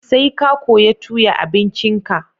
Sai ka koya tuya abincin ka